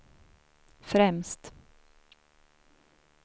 främst